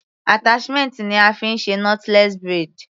Attachment ni a fí ń ṣe knotless braid.